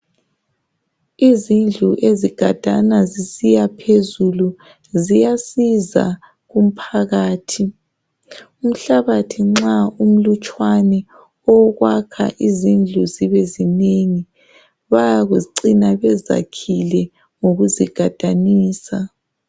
Izindlu ezigadana zisiyaphezulu ziyasiza kumphakathi. Umhlabathi nxa umlutshwana owokwakha izindlu zibezinengi bayacina bezakhile ngokuzigadanisa.